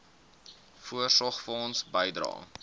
voorsorgfonds bydrae